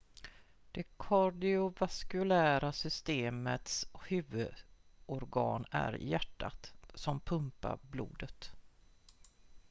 det kardiovaskulära systemets huvudorgan är hjärtat som pumpar blodet